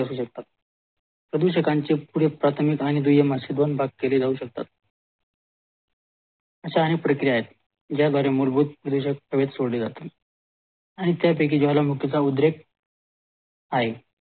प्रदूषकाचे पुढील प्राथमिक आणि दुय्यम अशे दोन भाग केले जाऊ शकतात अश्या आणि प्रक्रिया आहे ज्या द्वारे मूलभूत द्रव्ये हवेत सोडले जातात आणि त्यापैकी ज्वालामुखी चा ऊद्रेख ह